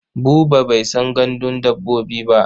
Buba bai san gandun dabbobi ba.